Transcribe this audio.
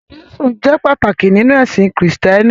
Jésù jẹ́ pàtàkì nínú ẹ̀sìn Kristẹni.